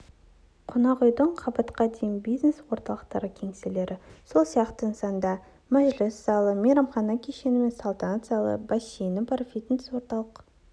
қонақ үйдің қабатқа дейін бизнес орталықтың кеңселері сол сияқты нысанда мәжіліс залы мейрамхана кешені мен салтанат залы бассейні бар фитнес орталық